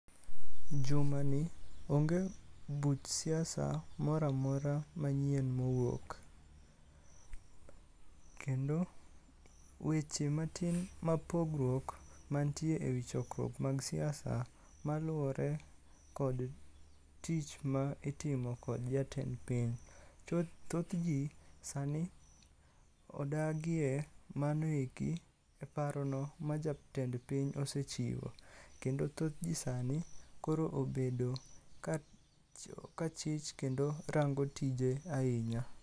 Juma ni, onge, buch siasa moramora manyien mowuok kendo, weche matin mapogruok mantie ewi chokruok mag siasa maluwore kod, tich ma itimo kod jatend piny. thoth jii sani, odagie manoeki e parono ma jatend piny osechiwo, kendo thoth jii sani koro obedo kachich kendo rango tije ainya